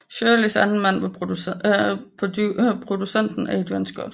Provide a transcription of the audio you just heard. Shirleys anden mand var producenten Adrian Scott